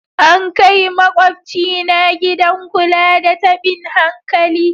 An kai makwabcina gidan kula da tabin hankali.